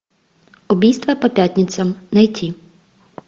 убийства по пятницам найти